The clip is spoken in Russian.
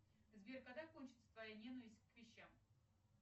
сбер когда кончится твоя ненависть к вещам